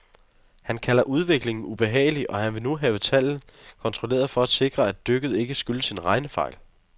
Han kalder udviklingen ubehagelig, og han vil nu have tallene kontrolleret for at sikre, at dykket ikke skyldes en regnefejl.